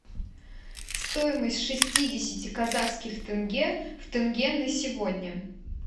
стоимость шестидесяти казахских тенге в тенге на сегодня